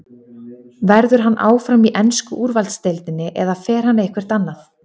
Verður hann áfram í ensku úrvalsdeildinni eða fer hann eitthvert annað?